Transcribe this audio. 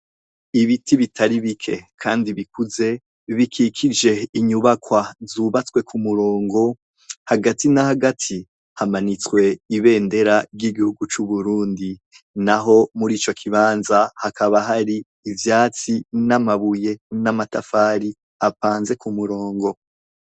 Ibiti bitari bike, kandi bikuze bikikije inyubakwa zubatswe ku murongo hagati na hagati hamanitswe ibendera ry'igihugu c'uburundi na ho muri ico kibanza hakaba hari ivyatsi n'amabuye n'amatafari apanze ku murongo.